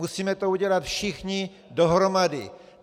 Musíme to udělat všichni dohromady.